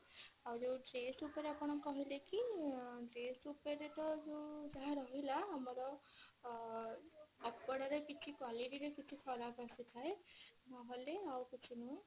ଆଉ ଯଉ chest ଉପରେ ଆପଣ କହିଲେ କି chest ଉପରେ ଯଉ ଯାହା ରହିଲା ଆମର ଅ କପଡା ରେ କିଛି quality ରେ କିଛି ଖରାପ ଆସିଥାଏ ନହେଲେ ଆଉ କିଛି ନୁହଁ